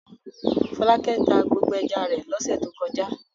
Fọlákẹ́ tá gbogbo ẹja rẹ̀ lọ́sẹ̀ tó kọjá.